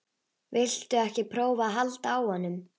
Viltu ekki prófa að halda á honum?